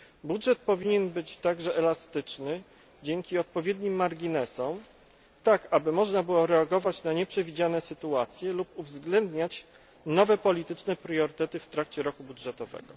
Budżet powinien być także elastyczny dzięki odpowiednim marginesom, tak aby można było reagować na nieprzewidziane sytuacje lub uwzględniać nowe polityczne priorytety w trakcie roku budżetowego.